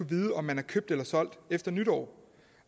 vide om man er købt eller solgt efter nytår